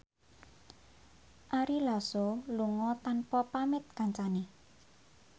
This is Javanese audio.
Ari Lasso lunga tanpa pamit kancane